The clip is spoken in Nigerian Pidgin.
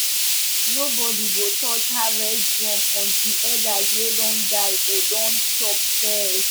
nobody go touch harvest drum until elders wey don die go don chop first